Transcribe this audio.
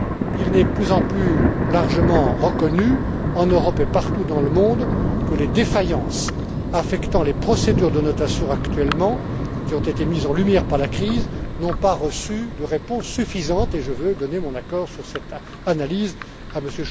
Il est de plus en plus largement reconnu, en Europe et partout dans le monde, que les défaillances affectant actuellement les procédures de notation, qui ont été mises en lumière par la crise, n'ont pas reçu de réponse suffisante, et je veux donner mon accord sur cette analyse à